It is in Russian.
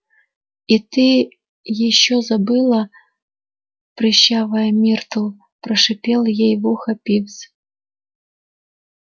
и ты ещё забыла прыщавая миртл прошипел ей в ухо пивз